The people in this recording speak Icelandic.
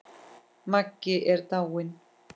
Maggi er dáinn!